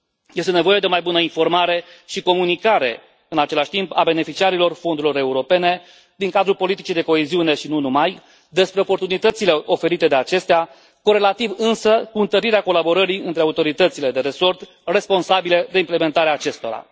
Este nevoie de o mai bună informare și comunicare în același timp a beneficiarilor Fondurilor europene din cadrul politicii de coeziune și nu numai despre oportunitățile oferite de acestea, corelativ, însă, cu întărirea colaborării între autoritățile de resort responsabile de implementarea acestora.